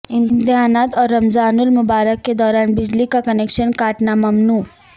امتحانات اور رمضان المبارک کے دوران بجلی کا کنکشن کاٹنا ممنوع